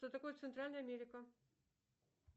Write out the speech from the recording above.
что такое центральная америка